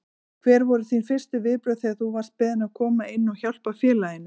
Hver voru þín fyrstu viðbrögð þegar þú varst beðinn að koma inn og hjálpa félaginu?